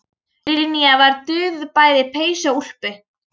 Linja var dúðuð bæði í peysu og úlpu.